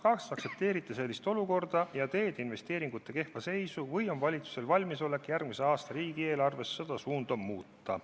Kas aktsepteerite sellist olukorda ja teede investeeringute kehva seisu või on valitsusel valmisolek järgmise aasta riigieelarves seda suunda muuta?